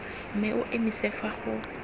mme o emise fa go